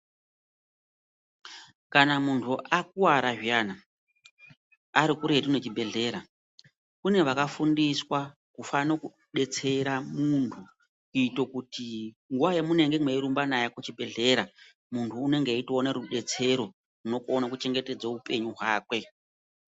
Kana mundu akwara zviyana ari kuretu nechibhedhlera kune vakafundiswa kufano kubetsera mundu kuite kuti nguva yamunenge mweyirumbe naye kuchibhedhlera mundu unenge weyitoone rubetsero runokona kuchengetedze upenyu hwake.